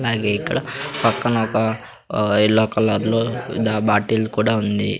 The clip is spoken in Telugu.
అలాగే ఇక్కడ పక్కన ఒక ఆ యెల్లో కలర్ లో బాటిల్ కూడా ఉంది.